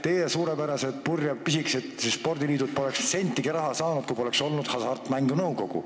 Teie suurepärased pisikesed purjespordiliidud poleks sentigi raha saanud, kui poleks olnud Hasartmängumaksu Nõukogu.